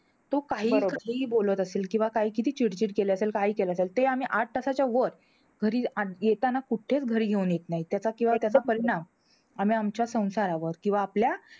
तो काहीही काहीही बोलत असेल, किंवा काही किती चिडचिड केली असेल, काही केलं असेल. ते आम्ही आठ तासाच्या वर घरी आन येताना कुठेच घरी घेऊन येत नाही. त्याचा किंवा त्याचा परिणाम आम्ही आमच्या संसारावर किंवा आपल्या,